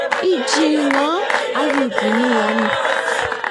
ichi ng'o ak ibunu ano?